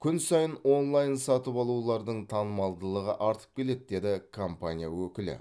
күн сайын онлайн сатып алулардың танымалдығы артып келеді деді компания өкілі